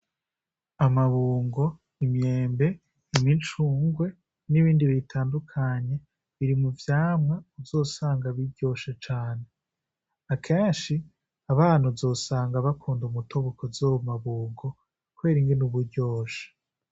Amabungo imyembe imicungwe n'ibindi bitandukanye biri mu vyamwa uzosanga biryoshe cane. Akenshi abana uzosanga bakunda umutobe uzova mu mabungo kubera ingene uba uryoshe.